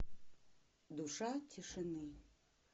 душа тишины